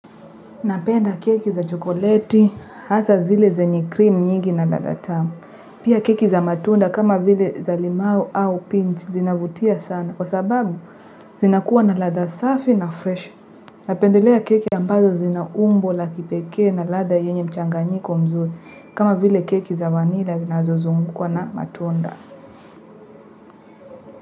Napenda keki za chokoleti, hasa zile zenye cream nyingi na ladha tamu. Pia keki za matunda kama vile za limau au pinch zinavutia sana kwa sababu zinakuwa na ladha safi na fresh. Napendelea keki ambazo zina umbo la kipekee na ladha yenye mchanganyiko mzuri kama vile keki za vanila zinazozungukwa na matunda.